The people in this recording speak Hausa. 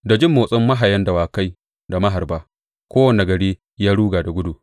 Da jin motsin mahayan dawakai da maharba kowane gari ya ruga da gudu.